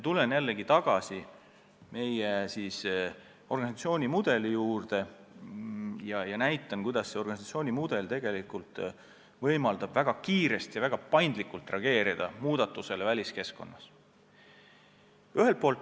Tulen jällegi tagasi meie organisatsiooni mudeli juurde ja selgitan, kuidas see mudel tegelikult võimaldab väga kiiresti ja väga paindlikult reageerida muudatustele väliskeskkonnas.